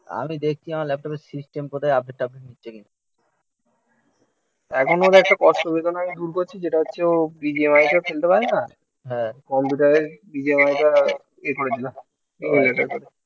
আমি দেখছি আমার ল্যাপটপের সিস্টেম কোথায় আপডেট টাপডেট নিচ্ছে কিনা এখন ওর একটা কষ্ট বেদনা আমি দূর করছি. যেটা হচ্ছে ও BGMI তো খেলতে পারে না. হ্যাঁ. কম্পিউটারে ইনস্টল টা ইয়ে করে দিলাম